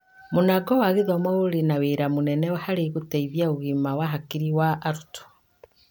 Mũnango wa gĩthoma ũrĩ na wĩra mũnene harĩ gũteithia ũgima wa hakiri wa arutwo.